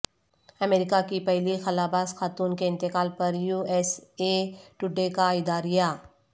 امریکہ کی پہلی خلابازخاتون کے انتقال پر یوایس اے ٹوڈے کا اداریہ